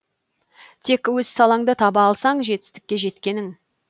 тек өз салаңды таба алсаң жетістікке жеткенің